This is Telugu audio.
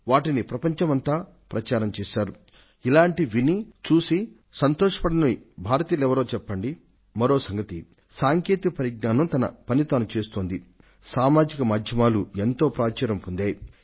అవి ప్రపంచమంతా ప్రచారం పొందాయి